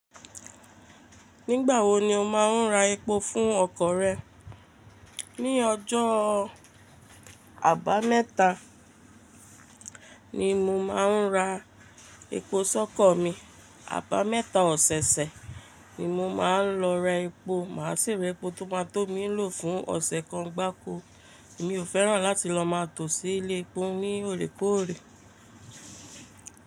Nígbà wo ni o máa ń ra epo fún ọkọ̀ rẹ? Ní ọjọ́ àbámẹ́ta ni mo máa ń ra epo sọ́kọ̀ mi. Àbámẹ́ta ọ̀sẹ̀ẹ̀sẹ̀ ni mo máa ń lọ ra epo. Màá sì re epo tó máa tó mí lò fún ọ̀sẹ̀ kan gbá ko. Mi ò fẹ́ràn láti lọ máa tó sí ilé epo ní òrékòórè.